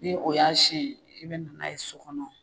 Ni o y'a sin ye i bɛ na n'a ye so kɔnɔ.